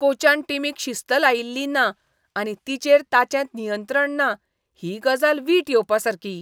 कोचान टीमीक शिस्त लयिल्ली ना आनी तिचेर ताचें नियंत्रण ना ही गजाल वीट येवपासारकी.